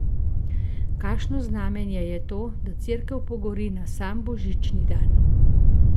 Kakšno znamenje je to, da cerkev pogori na sam božični dan?